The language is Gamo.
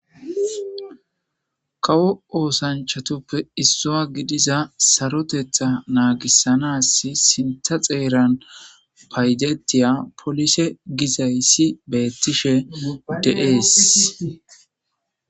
kawo oosanchatuppe issua gidiza sarotetha naagissanas sinta xeeran paydetiya polise gizayssi beettishe udeees